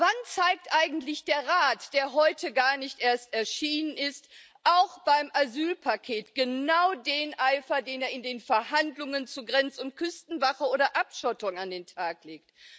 Wann zeigt eigentlich der Rat, der heute gar nicht erst erschienen ist, auch beim Asylpaket genau den Eifer, den er in den Verhandlungen zur Grenz und Küstenwache oder Abschottung an den Tag legt?